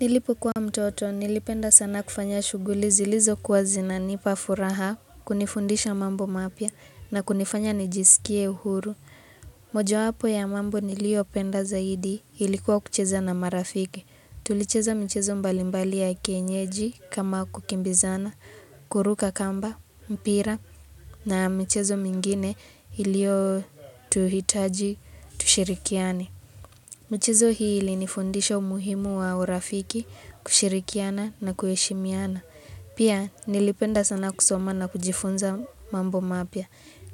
Nilipokua mtoto, nilipenda sana kufanya shughuli zilizokua zinanipa furaha, kunifundisha mambo mapya, na kunifanya nijisikie uhuru. Mojapo ya mambo niliopenda zaidi, ilikuwa kucheza na marafiki. Tulicheza mchezo mbalimbali ya kienyeji, kama kukimbizana, kuruka kamba, mpira, na mchezo mingine ilio tuhitaji, tushirikiane. Michezo hii ilinifundisha umuhimu wa urafiki kushirikiana na kuheshimiana. Pia nilipenda sana kusoma na kujifunza mambo mapya.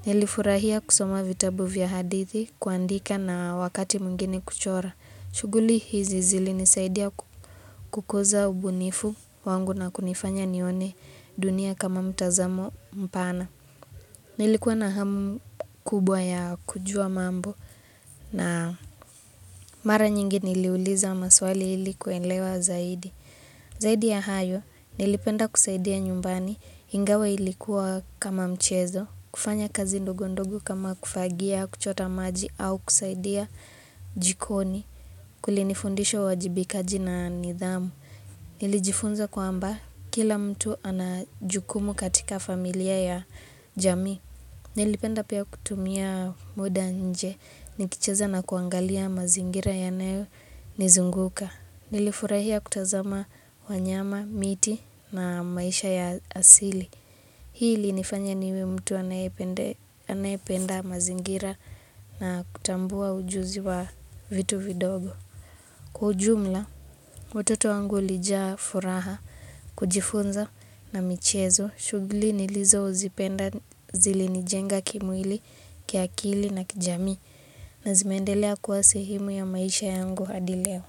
Nilifurahia kusoma vitabu vya hadithi kuandika na wakati mwingine kuchora. Shughuli hizi zilinisaidia kukuza ubunifu wangu na kunifanya nione dunia kama mtazamo mpana. Nilikuwa na hamu kubwa ya kujua mambo na mara nyingi niliuliza maswali ilikuwelewa zaidi. Zaidi ya hayo nilipenda kusaidia nyumbani ingawa ilikuwa kama mchezo, kufanya kazi ndogo ndogo kama kufagia, kuchota maji au kusaidia jikoni. Kulinifundisha wajibikaji na nidhamu, nilijifunza kwa mba kila mtu anajukumu katika familia ya jami Nilipenda pia kutumia muda nje, nikicheza na kuangalia mazingira yanayo nizunguka Nilifurahia kutazama wanyama, miti na maisha ya asili Hii ili nifanya niwe mtu anayependa mazingira na kutambua ujuzi wa vitu vidogo Kwa jumla, utoto wangu lijaa furaha, kujifunza na michezo, shuguli nilizo uzipenda zilinijenga kimwili, kiakili na kijami na zimendelea kuwa sehimu ya maisha yangu hadi leo.